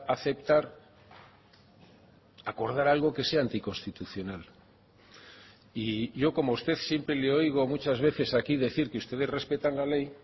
aceptar acordar algo que sea anticonstitucional y yo como usted siempre le oigo muchas veces aquí decir que ustedes respetan la ley